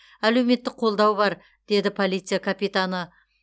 әлеуметтік қолдау бар дейді полиция капитаны